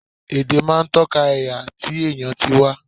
Èdè máa ń tọ́ka ẹ̀yà àti ti èèyàn tí wá